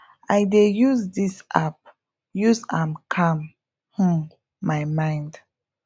i dey use dis app use am calm um my mind